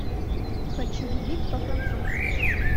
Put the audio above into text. хочу любить по французски